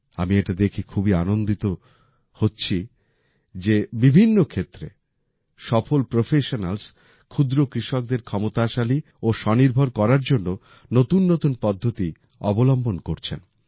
আমি এটা দেখে খুবই আনন্দিত বোধ করছি যে বিভিন্ন ক্ষেত্রে সফল প্রফেশনালস ক্ষুদ্র কৃষকদের ক্ষমতাশালী ও স্বনির্ভর করার জন্য নতুন নতুন পদ্ধতি অবলম্বন করছেন